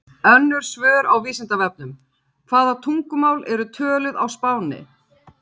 Önnur svör á Vísindavefnum: Hvaða tungumál eru töluð á Spáni?